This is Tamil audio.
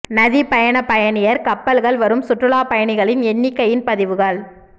நதி பயண பயணியர் கப்பல்கள் வரும் சுற்றுலாப் பயணிகளின் எண்ணிக்கையின் பதிவுகள்